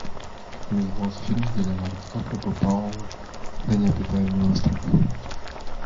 как назывался фильм где леонардо ди каприо попал на необитаемый остров